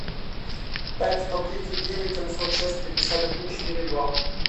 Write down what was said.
пять сто тридцать девять семьсот шесть пятьдесят один четыре два